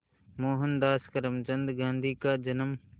मोहनदास करमचंद गांधी का जन्म